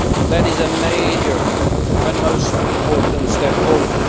That is a major and most important step forward.